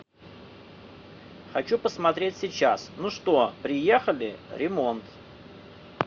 хочу посмотреть сейчас ну что приехали ремонт